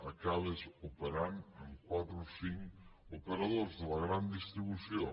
acabes operant amb quatre o cinc operadors de la gran distribució